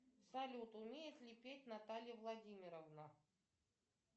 салют умеет ли петь наталья владимировна